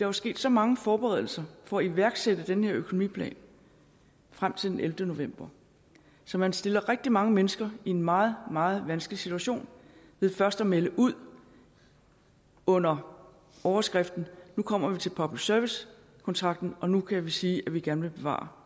er sket så mange forberedelser for at iværksætte den her økonomiplan frem til den ellevte november så man stiller rigtig mange mennesker i en meget meget vanskelig situation ved først at melde ud under overskriften nu kommer vi til public service kontrakten og nu kan vi sige at vi gerne vil bevare